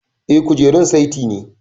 Eh, kujerun saiti ne